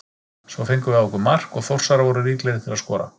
Svo fengum við á okkur mark og Þórsarar voru líklegri til að skora.